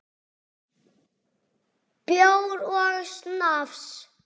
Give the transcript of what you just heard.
Bjór og snafs.